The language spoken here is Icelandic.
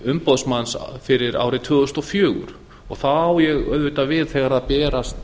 umboðsmanns fyrir árið tvö þúsund og fjögur þá á ég auðvitað við þegar berast